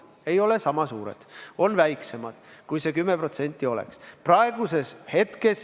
Need ei ole sama suured, on väiksemad, kui see 10% oleks.